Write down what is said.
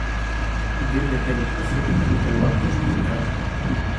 geli xidhiidh cusub ciwaanka iimaylkan